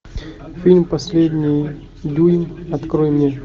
фильм последний дюйм открой мне